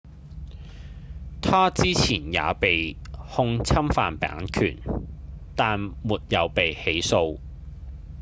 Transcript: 他之前也被控侵犯版權但沒有被起訴